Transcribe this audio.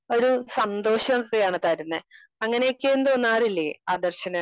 Speaker 2 ഒരു സന്തോഷോക്കെയാണ് തരുന്നേ. അങ്ങനെയൊക്കെയൊന്നും തോന്നാറില്ലേ ആദർശിന്?